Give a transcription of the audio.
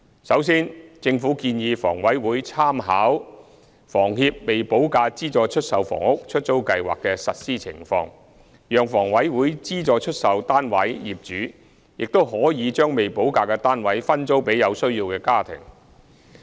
首先，政府建議房委會參考房協"未補價資助出售房屋——出租計劃"的實施情況，考慮加入計劃讓房委會資助出售單位業主亦可將未補價的單位分租給有需要家庭。